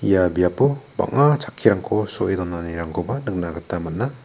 ia biapo bang·a chakkirangko so·e donanirangkoba nikna man·a.